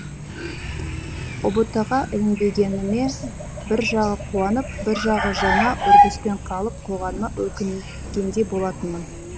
ұбт ға ілінбегеніме бір жағы қуанып бір жағы жаңа үрдіспен қалып қойғаныма өкінгендей болатынмын